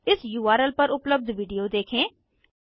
इस उर्ल पर उपलब्ध वीडियो देखें